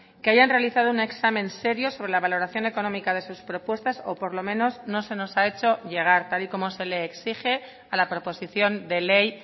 que hayan realizado un examen serio sobre la valoración económica de sus propuestas o por lo menos no se nos ha hecho llegar tal y como se le exige a la proposición de ley